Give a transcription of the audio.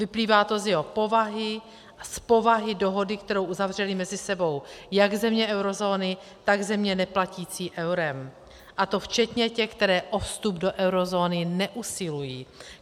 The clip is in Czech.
Vyplývá to z jeho povahy a z povahy dohody, kterou uzavřely mezi sebou jak země eurozóny, tak země neplatící eurem, a to včetně těch, které o vstup do eurozóny neusilují.